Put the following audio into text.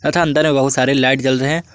तथा बहुत सारे लाइट जल रहे हैं।